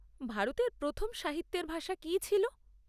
ভারতের প্রথম সাহিত্যের ভাষা কী ছিল?